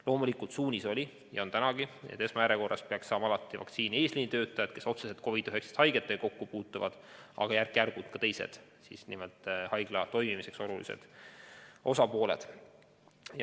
Loomulikult suunis oli varem ja on tänagi see, et esmajärjekorras peaksid alati saama vaktsiini eesliinitöötajad, kes otseselt COVID-19 haigetega kokku puutuvad, aga järk-järgult ka teised, nimelt haigla toimimiseks olulised osapooled.